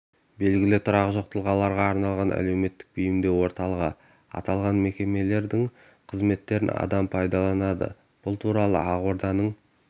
белгілі тұрағы жоқ тұлғаларға арналған әлеуметтік бейімдеу орталығы аталған мекемелердің қызметтерін адам пайдаланады бұл туралы ақорданың